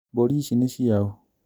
Mbũri ici nĩ ciaũ